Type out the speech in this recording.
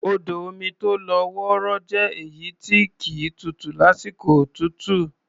Odò omi tó lọ́ wọrọ́ jẹ́ èyí tí kì í tutù lásìkò òtútù.